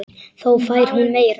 Þá fær hún meira.